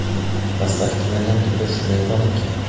поставь киноленту бешеные гонки